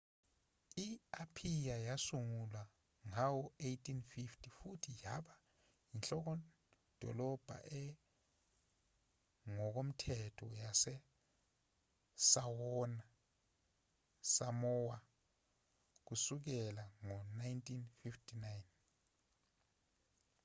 i-aphiya yasungulwa ngawo-1850 futhi yaba yinhlokodolobha engokomthetho yasesamowa kusukela ngo-1959